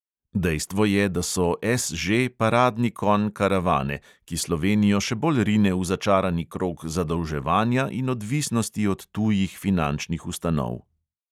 Dejstvo je, da so SŽ paradni konj karavane, ki slovenijo še bolj rine v začarani krog zadolževanja in odvisnosti od tujih finančnih ustanov.